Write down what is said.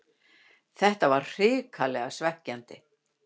Þetta var hrikalega svekkjandi